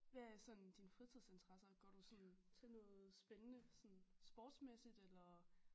Hvad er sådan dine fritidsinteresser går du sådan til noget spændende sådan sportsmæssigt eller